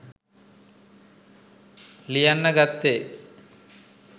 ලියන්න ගත්තෙ.